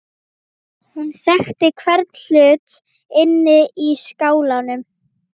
Hún þekkti hvern hlut inni í skálanum.